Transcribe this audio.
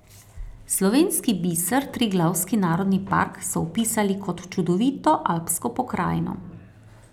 Slovenski biser Triglavski narodni park so opisali kot čudovito alpsko pokrajino.